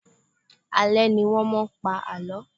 Alẹ́ ni wọn máa ń pa àlọ́.